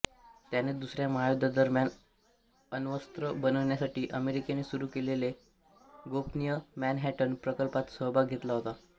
त्याने दुसऱ्या महायद्धादरम्यान अण्वस्त्र बनविण्यासाठी अमेरिकेने सुरू केलेल्या गोपनीय मॅनहॅटन प्रकल्पात सहभाग घेतला होता